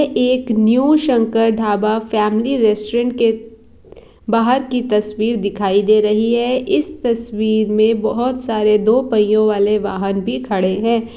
एक new Shankar dhaba family restaurant के बाहर की तस्वीर दिखाई दे रही है इस तस्वीर में बहुत सारे दो पहियों वाले वाहन भी खड़े हैं।